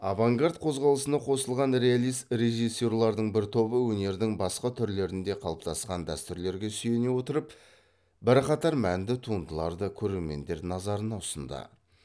авангард қозғалысына қосылған реалист режиссерлердің бір тобы өнердің басқа түрлерінде қалыптасқан дәстүрлерге сүйене отырып бірқатар мәнді туындыларды көрермендер назарына ұсынды